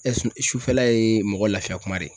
su sufɛla ye mɔgɔ lafiya kuma de ye